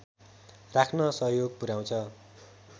राख्न सहयोग पुर्‍याउँछ